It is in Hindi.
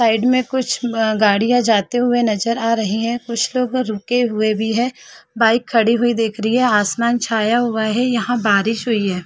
--साइड में कुछ अ गाड़िया जाते हुए नज़र आ रही है कुछ लोग रुके हुए भी है बाइक खड़ी हुई देख रही है आसमान छाया हुआ है यहाँ बारिश हुई है।